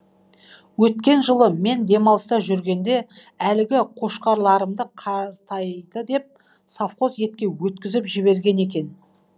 өткен жылы мен демалыста жүргенде әлгі қошқарларымды қартайды деп совхоз етке өткізіп жіберген екен